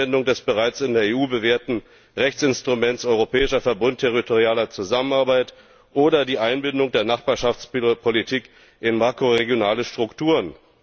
die Anwendung des bereits in der EU bewährten Rechtsinstruments Europäischer Verbund für territoriale Zusammenarbeit oder die Einbindung der Nachbarschaftspolitik in makroregionale Strukturen.